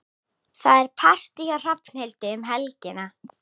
Það er partí hjá Hrafnhildi um helgina.